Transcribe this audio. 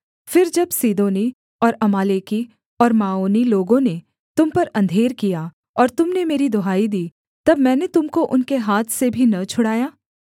फिर जब सीदोनी और अमालेकी और माओनी लोगों ने तुम पर अंधेर किया और तुम ने मेरी दुहाई दी तब मैंने तुम को उनके हाथ से भी न छुड़ाया